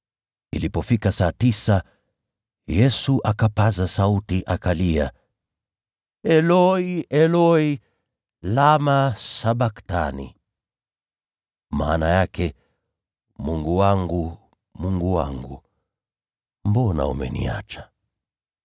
Ilipofika saa tisa, Yesu akapaza sauti akalia, “Eloi, Eloi, lama sabakthani?” (maana yake, “Mungu wangu, Mungu wangu, mbona umeniacha?” )